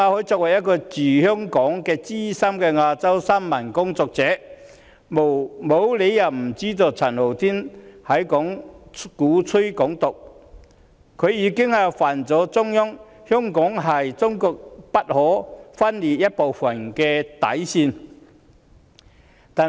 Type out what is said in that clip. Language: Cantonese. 作為一位駐港資深新聞工作者，馬凱沒有理由不知道陳浩天鼓吹"港獨"，已觸犯中央的底線——香港是中國不可分離的一部分。